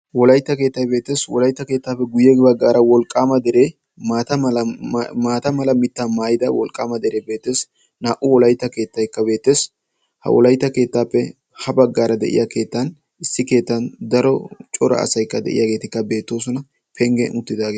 Wolaytta keettay beettees. Wolaytta keettaappe guyye baggaara wolqqaama dere maata mala mitta maayida wolqqaama dere beettees. Naa'u wolaytta keettaykka beettees. Ha wolaytta keettaappe ha baggaara de'iya keettan issi keetan daro cora asaykka de'iyaageetikka beettoosona. Penggen uttidaage...